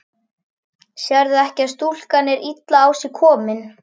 Sérðu ekki að stúlkan er illa á sig komin.